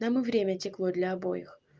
нам и время текло для обоих